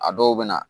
A dɔw bɛ na